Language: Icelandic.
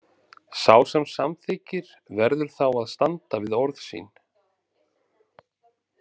Sá sem samþykkir verður þá að standa við orð sín.